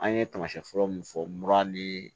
An ye tamasiyɛn fɔlɔ min fɔ mura ni